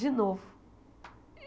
De novo.